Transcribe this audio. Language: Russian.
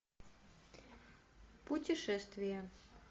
путешествие